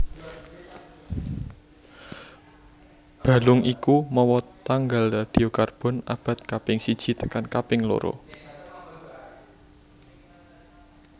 Balung iku mawa tanggal radiokarbon abad kaping siji tekan kaping loro